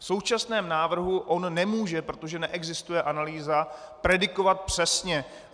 V současném návrhu on nemůže, protože neexistuje analýza, predikovat přesně.